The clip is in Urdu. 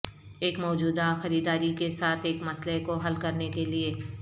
ایک موجودہ خریداری کے ساتھ ایک مسئلہ کو حل کرنے کے لئے